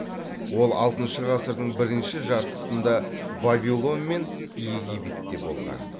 ол алтыншы ғасырдың бірінші жартысында вавилон мен египетте болған